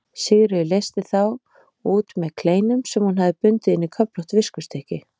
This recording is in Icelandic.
Sigríður leysti þá út með kleinum sem hún hafði bundið inn í köflótt viskustykki.